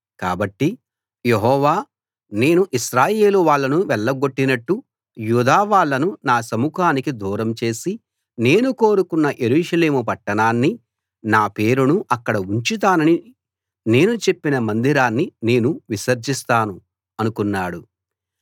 కాబట్టి యెహోవా నేను ఇశ్రాయేలు వాళ్ళను వెళ్లగొట్టినట్టు యూదా వాళ్ళను నా సముఖానికి దూరం చేసి నేను కోరుకొన్న యెరూషలేము పట్టణాన్నీ నా పేరును అక్కడ ఉంచుతానని నేను చెప్పిన మందిరాన్నీ నేను విసర్జిస్తాను అనుకున్నాడు